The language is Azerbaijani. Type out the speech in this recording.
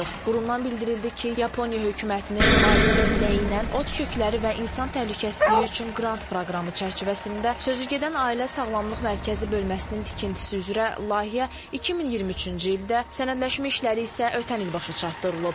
Qurumdan bildirildi ki, Yaponiya hökumətinin maliyyə dəstəyi ilə ot kökləri və insan təhlükəsizliyi üçün qrant proqramı çərçivəsində sözügedən ailə sağlamlıq mərkəzi bölməsinin tikintisi üzrə layihə 2023-cü ildə, sənədləşmə işləri isə ötən il başa çatdırılıb.